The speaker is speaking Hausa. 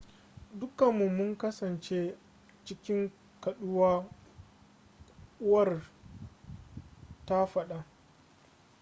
dukanmu mun kasance cikin kaɗuwa uwar ta faɗa